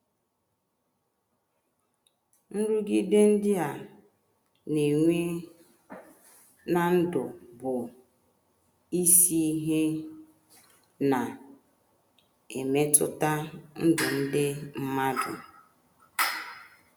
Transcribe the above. Nrụgide ndị a na - enwe ná ndụ bụ isi ihe na emetụta ndụ ndị mmadụ.